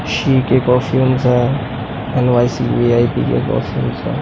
सी के कॉस्ट्यूम्स आए एण्ड भाय सी